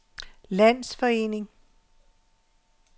landsforening